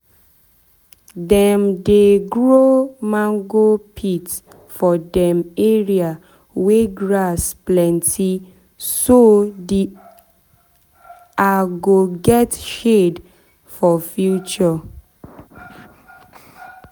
dem dey grow mango pit for dem area wey grass plenty so de are go get shade for future.